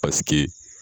Paseke